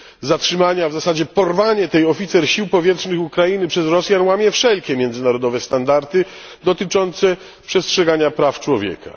Zatrzymanie, a w zasadzie porwanie tej oficer sił powietrznych Ukrainy przez Rosjan łamie wszelkie międzynarodowe standardy dotyczące przestrzegania praw człowieka.